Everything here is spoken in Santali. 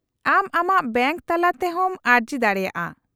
-ᱟᱢ ᱟᱢᱟᱜ ᱵᱮᱝᱠ ᱛᱟᱞᱟᱛᱮ ᱦᱚᱸᱢ ᱟᱹᱨᱡᱤ ᱫᱟᱲᱮᱭᱟᱜᱼᱟ ᱾